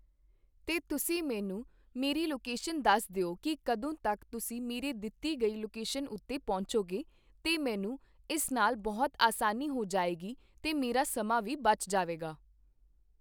ਤੇ ਤੁਸੀਂ ਮੈਨੂੰ ਮੇਰੀ ਲੋਕੇਸ਼ਨ ਦੱਸ ਦਿਓ ਕੀ ਕਦੋਂ ਤੱਕ ਤੁਸੀਂ ਮੇਰੇ ਦਿੱਤੀ ਗਈ ਲੋਕੇਸ਼ਨ ਉੱਤੇ ਪਹੁੰਚੋਗੇ ਤੇ ਮੈਨੂੰ ਇਸ ਨਾਲ ਬਹੁਤ ਆਸਾਨੀ ਹੋ ਜਾਏਗੀ ਤੇ ਮੇਰਾ ਸਮਾਂ ਵੀ ਬਚ ਜਾਵੇਗਾ